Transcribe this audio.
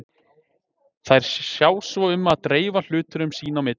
Þær sjá svo um að dreifa hlutunum sín á milli.